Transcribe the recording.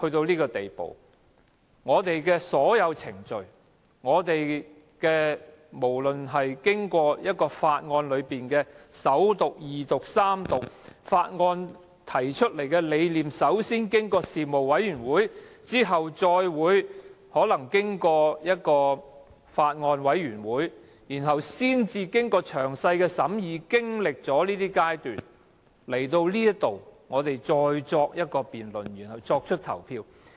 主席，我們的議會發展至今時今日，法案均須經過首讀、二讀及三讀，法案提出後要通過事務委員會，再通過法案委員會，經過詳細審議及各個階段才提交本會，經議員辯論後作出表決。